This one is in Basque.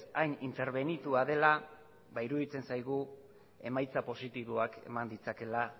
hain interbenitua dela ba iruditzen zaigu emaitza positiboakeman ditzakeela